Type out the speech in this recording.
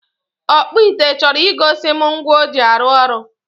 ọkpụ ite chọrọ igosi m ngwa o ji arụ ọrụ